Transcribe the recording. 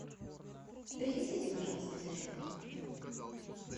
принесите пожалуйста зарядку в номер